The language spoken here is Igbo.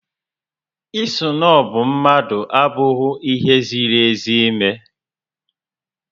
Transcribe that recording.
Ị snọbụ mmadụ abụghị ihe ziri ezi ime